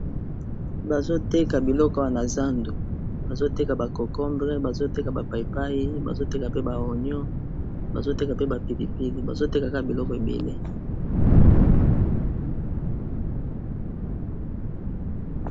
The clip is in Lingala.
Bazo teka biloko awa na zandu bazo teka ba cocombre, bazo teka ba paipai, bazo teka pe ba oignon, bazo teka pe ba pipipili, bazo teka kaka biloko ébélé.